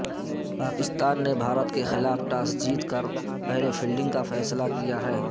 پاکستان نے بھارت کے خلاف ٹاس جیت کر پہلے فیلڈنگ کا فیصلہ کیا ہے